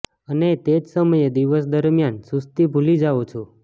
અને તે જ સમયે દિવસ દરમિયાન સુસ્તી ભૂલી જાઓ છો